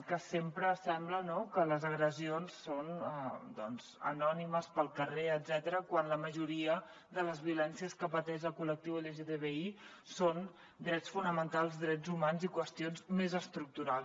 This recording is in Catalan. que sempre sembla que les agressions són anònimes pel carrer etcètera quan la majoria de les violències que pateix el collectiu lgtbi són drets fonamentals drets humans i qüestions més estructurals